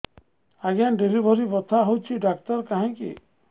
ଆଜ୍ଞା ଡେଲିଭରି ବଥା ହଉଚି ଡାକ୍ତର କାହିଁ କି